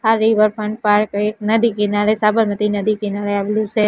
આ riverfront park એક નદી કિનારે સાબરમતી નદી કિનારે આવેલું સે.